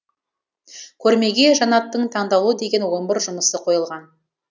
көрмеге жанаттың таңдаулы деген он бір жұмысы қойылған